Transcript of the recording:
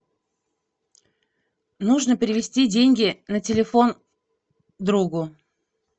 нужно перевести деньги на телефон другу